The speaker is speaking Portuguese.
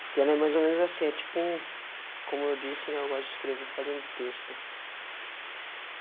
Porque ela é mais ou menos assim, é tipo um, como eu disse, né, eu gosto de escrever, fazendo texto.